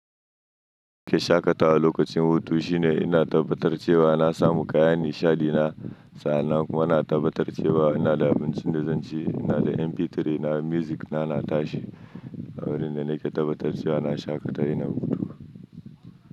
Ke shaƙatawa lokacin hutu shine ina tabbatar cewa na samu kayan nishaɗi na sa. Na kuma na tabbatar da cewa ina da abincin da zan ci. Ina da MP3 na, music na, na tashi. Wurin da na ke tabbatar cewa na shaƙata ina hutu.